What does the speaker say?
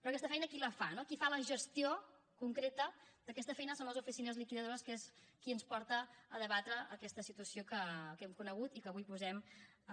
però aquesta feina qui la fa no qui fa la gestió concreta d’aquesta feina són les oficines liquidadores que és qui ens porta a debatre aquesta situació que hem conegut i que avui posem